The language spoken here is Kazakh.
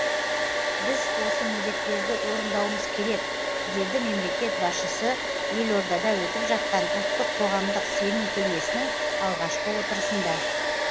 біз осы міндеттерді орындауымыз керек деді мемлекет басшысы елордада өтіп жатқан ұлттық қоғамдық сенім кеңесінің алғашқы отырысында